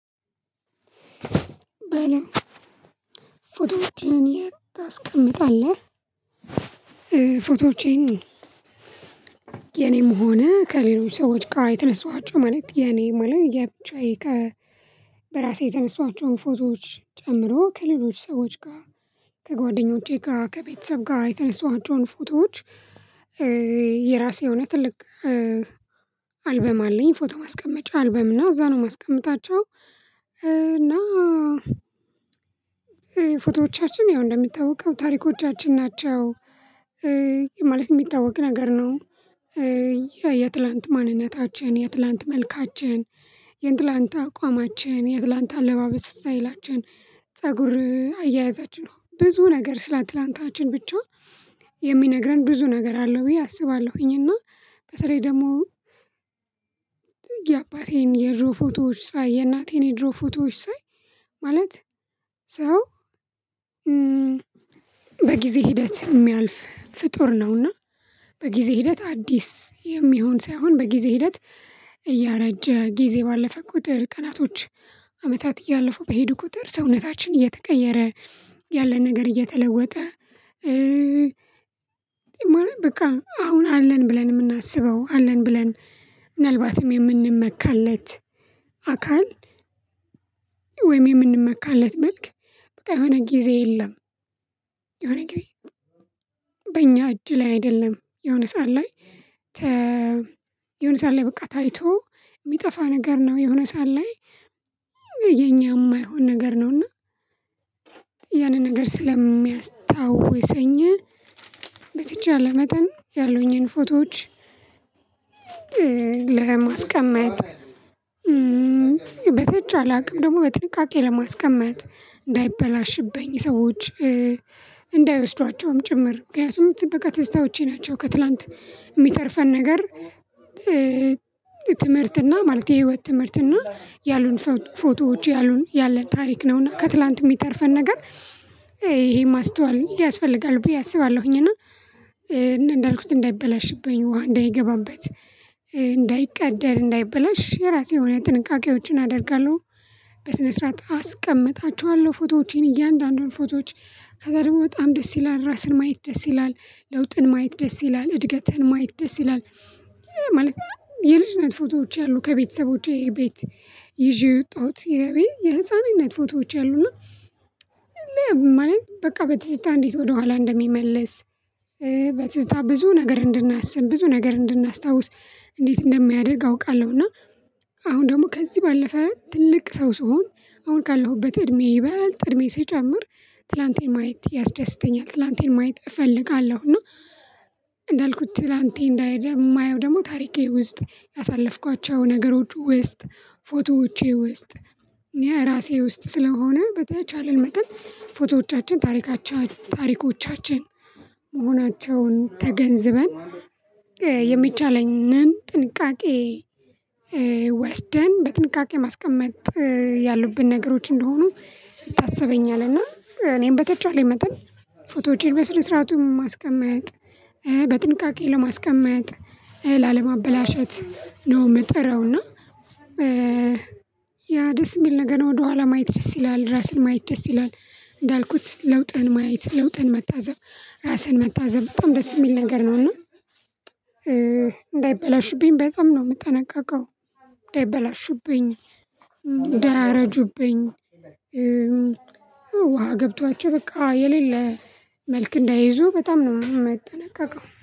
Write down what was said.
ፎቶዎችህን የት ታስቀምጣለህ? ፎቶዎቼን የኔም ሆነ ከሌሎች ሰዎች ጋር የተነሰዋቸው ማለት የኔ መለ የብቻዬ ከ በራሴ የተነሳቸውን ፎዞዎች ጨምሮ ከሌሎች ሰዎች ጋር ከጓደኞቼ ጋር ከቤተሰብ ጋር የተነሱ አባቶች ፎቶዎች። የራሴ የሆነ ትልቅ አልበም አለኝ ፎቶ ማስቀመጫ አልበም እና እዛ ነው የማስቀምጣቸው። እና ፎቶዎቻችን ያው እንደሚታወቀው ታሪኮቻችን ናቸው ማለት የሚታወቅ ነገር ነው። የትላንት ማንነታችን የትላንት መልካችን የእንትላንት አቋማችን የአትላንት አለባበስ ስታይላችን ፀጉር አያያዛችን ነው ብዙ ነገር ስለ አትላንታችን ብቻ የሚነግረን ብዙ ነገር አለው ብዬ አስባለሁኝ። እና በተለይ ደግሞ የአባቴን የድሮ ፎቶዎች ሳይ የእናቴን የድሮ ፎቶዎች ሳይ ማለት ሰው በጊዜ ሂደት የሚያልፍ ፍጡር ነውና። በጊዜ ሂደት አዲስ የሚሆን ሳይሆን በጊዜ ሂደት እያረጀ ጊዜ ባለፈ ቁጥር ቀናቶች አመታት እያለፉ በሄዱ ቁጥር ሰውነታችን እየተቀየረ ያለ ነገር እየተለወጠ። በቃ አሁን አለን ብለን የምናስበው አለን ብለን ምናልባትም የምንመካለት አካል ወይም የምንመካለት መልክ በቃ የሆነ ጊዜ የለም። የሆነ ጊዜ በእኛ እጅ ላይ አይደለም የሆነ ሰዓት ላይ። የሆነ ሰዓት ላይ በቃ ታይቶ የሚጠፋ ነገር ነው። የሆነ ሰዓት ላይ የኛ የማይሆን ነገር ነው። እና ያንን ነገር ስለሚያስታውሰኝ በትች አለመጠን ያሉኝን ፎቶዎች። ለማስቀመጥ በተችለ አቅም ደግሞ በጥንቃቄ ለማስቀመጥ እንዳይበላሽብኝ ሰዎች እንዳይወስዷቸውም ጭምር ምክንያቱም ት በቃ ትዝታወቼ ናቸው ከትላንት የሚተርፈን ነገር። ትምህርትና ማለት የህይወት ትምህርትና ያሉን ፎቶዎች ያሉን ያለን ታሪክ ነውና ከትላንት የሚተርፈን ነገር ይሄ ማስተዋል ያስፈልጋል ብዬ አስባለሁኝ። እና እንዳልኩት እንዳይበላሽብኝ ውሃ እንዳይገባበት እንዳይቀደድ እንዳይበላሽ የራሴ የሆነ ጥንቃቄዎችን አደርጋለሁ። በስነ ስርዓት አስቀምጣችኋለሁ ፎቶዎቼን እያንዳንዱን ፎቶዎች ከዛ ደግሞ በጣም ደስ ይላል ራስን ማየት ደስ ይላል። ለውጥን ማየት ደስ ይላል እድገትን ማየት ደስ ይላል ማለት ነው። የልጅነት ፎቶዎች አሉ ከቤተሰቦቼ ቤት ይዤ የወጣሁት የህፃንነት ፎቶዎች አሉ እና ማለት በቃ በትዝታ እንዴት ወደኋላ እንደሚመለስ። በትዝታ ብዙ ነገር እንድናስብ ብዙ ነገር እንድናስታውስ እንዴት እንደሚያደርግ አውቃለሁ። እና አሁን ደግሞ ከዚህ ባለፈ ትልቅ ሰው ስሆን አሁን ካለሁበት እድሜ ይበልጥ እድሜ ስጨምር ትላንቴን ማየት ያስደስተኛል ትላንቴን ማየት እፈልጋለሁ። እና እንዳልኩት ትላንት እንዳይሄድ የማየው ደግሞ ታሪኬ ውስጥ ያሳለፍኳቸው ነገሮች ውስጥ ፎቶዎቼ ውስጥ። እኔ ራሴ ውስጥ ስለሆነ በተቻለን መጠን ፎቶዎቻችን ታሪካቸው ታሪኮቻችን መሆናቸውን ተገንዝበን የሚቻለንን ጥንቃቄ ወስደን በጥንቃቄ ማስቀመጥ ያሉብን ነገሮች እንደሆኑ ይታሰበኛል። እና እኔም በተጫዋለኝ መጠን ፎቶዎችን በስር ስርዓቱን ማስቀመጥ በጥንቃቄ ለማስቀመጥ ላለማበላሸት ነው። የምጥረውና እና ያ ደስ የሚል ነገር ነው። ወደኋላ ማየት ደስ ይላል ራስን ማየት ደስ ይላል እንዳልኩት ለውጥህን ማየት ለውጥህን መታዘብ ራስህን መታዘብ በጣም ደስ የሚል ነገር ነው። እና እንዳይበላሹብኝ በጣም ነው የምጠነቀቀው እንዳይበላሹብኝ እንዳያረጁብኝ ውሃ ገብቷቸው በቃ የሌለ መልክ እንዳይዙ በጣም ነው የምጠነቀቀው